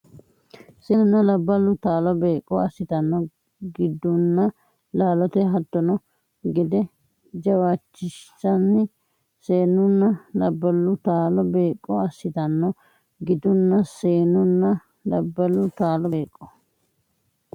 Seenunna labballu taalo beeqqo assitanno gidunna laalote hattono gede jawaachishinsa Seenunna labballu taalo beeqqo assitanno gidunna Seenunna labballu taalo beeqqo.